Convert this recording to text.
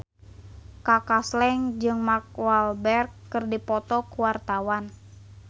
Kaka Slank jeung Mark Walberg keur dipoto ku wartawan